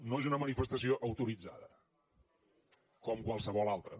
no és una manifestació autoritzada com qualsevol altra